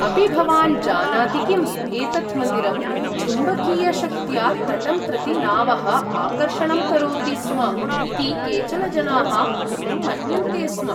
अपि भवान् जानाति किम्, एतत् मन्दिरं चुम्बकीयशक्त्या तटं प्रति नावः आकर्षणं करोति स्म इति केचन जनाः पूर्वं मन्यन्ते स्म?